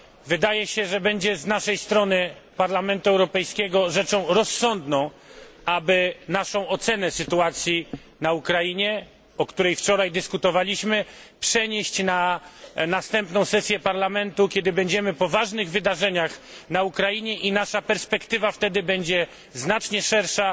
Wydaje się, że będzie z naszej strony Parlamentu Europejskiego rzeczą rozsądną, aby naszą ocenę sytuacji na Ukrainie, o której wczoraj dyskutowaliśmy, przenieść na następną sesję Parlamentu, kiedy będziemy po ważnych wydarzeniach na Ukrainie i nasza perspektywa wtedy będzie znacznie szersza.